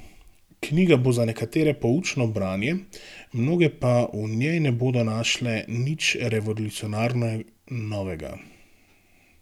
Knjiga bo za nekatere poučno branje, mnoge pa v njej ne bodo našle nič revolucionarno novega.